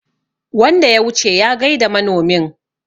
wanda ya wuce ya gaida manomin